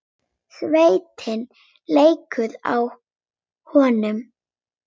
Svitinn lekur af honum.